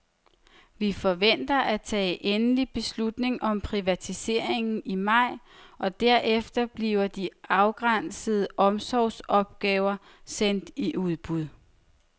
Vi forventer at tage endelig beslutning om privatiseringen i maj og derefter bliver de afgrænsede omsorgsopgaver sendt i udbud.